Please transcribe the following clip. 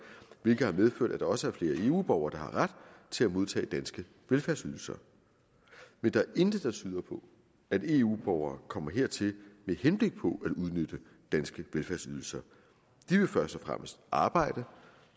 hvilket har medført at der også er flere eu borgere der har ret til at modtage danske velfærdsydelser men der er intet der tyder på at eu borgere kommer hertil med henblik på at udnytte danske velfærdsydelser de vil først og fremmest arbejde